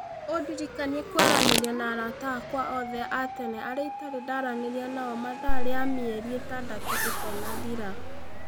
ũndirikanie kwaranĩria na arata akwa othe a tene arĩa itarĩ ndaranĩria nao mathaa rĩa mĩeri ĩtandatũ ĩtanathira